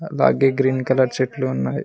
అలాగే green colour చెట్లు ఉన్నాయి.